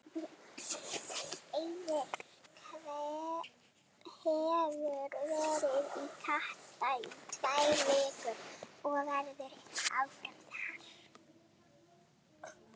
Eiður hefur verið í Katar í tvær vikur og verður eitthvað áfram þar.